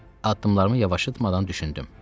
Addımlarımı yavaşıtmadan düşündüm.